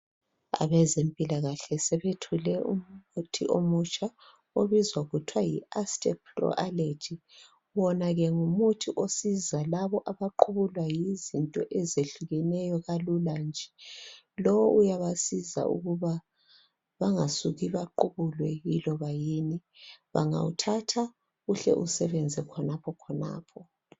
Abezempilakahle, sebethole umuthi omutsha. Obizwa kuthiwa, yi ASTEPRO ALLERGY.Wona ke ngumuthi osiza labo abaqubulwa yizinto ezehlukeneyo kalula nje, Lowo uyabasiza ukuba bangasuki baqubulwe yiloba yini. Bangawuthatha, uhle usebenze khonapho, khonapho.